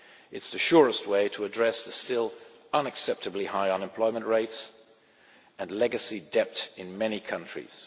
It is the surest way to address the still unacceptably high unemployment rates and legacy debt in many countries.